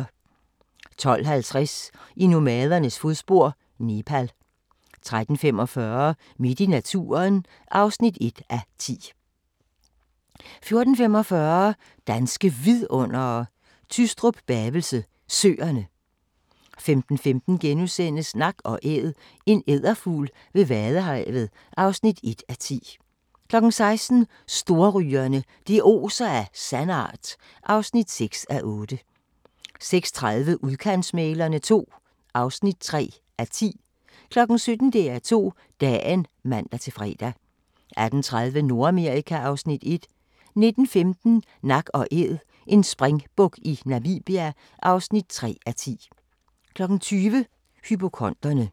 12:50: I nomadernes fodspor: Nepal 13:45: Midt i naturen (1:10) 14:45: Danske Vidundere: Tystrup-Bavelse Søerne 15:15: Nak & Æd – en edderfugl ved vadehavet (1:10)* 16:00: Storrygere – det oser af sandart (6:8) 16:30: Udkantsmæglerne II (3:10) 17:00: DR2 Dagen (man-fre) 18:30: Nordamerika (Afs. 1) 19:15: Nak & Æd – en springbuk i Namibia (3:10) 20:00: Hypokonderne